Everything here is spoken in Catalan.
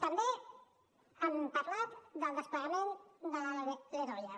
també han parlat del desplegament de la ldoia